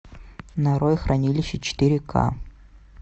нарой хранилище четыре ка